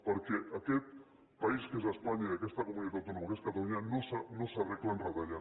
perquè aquest país que és espanya i aquesta comunitat autònoma que és catalunya no s’arreglen retallant